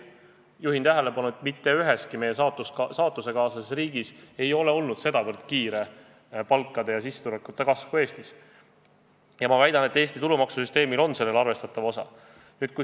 Juhin tähelepanu, et mitte üheski meie saatusekaaslases riigis ei ole olnud sedavõrd kiire palkade ja sissetulekute kasv kui Eestis, ja väidan, et Eesti tulumaksusüsteemil on selles arvestatav osa.